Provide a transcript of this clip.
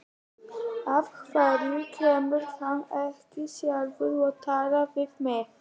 Af hverju kemur hann ekki sjálfur og talar við mig?